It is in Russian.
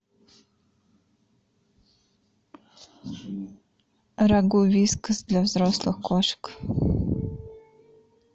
рагу вискас для взрослых кошек